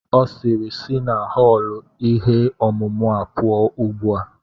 Ọ sịịrị, sị na họọlụ ihe ọmụmụ a pụọ ugbu a!